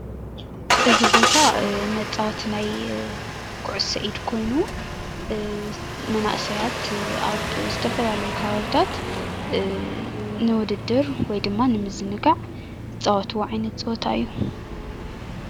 እዚ ቦታ መፃወቲ ናይ ኩዕሶ ኢድ ኮይኑ መናእሰያት ኣብ ዝተፈላለዩ ከባቢታት ንዉድድር ወይ ድማ ንምዝንጋዕ ዝፃወትዎ ዓይነት ፀወታ እዩ።